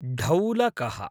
ढौलकः